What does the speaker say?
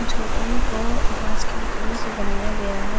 झोपड़ियो को बास की लकडियो से बनाया गया है।